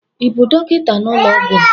ị bụ dọkịta n'ụlọọgwụ a?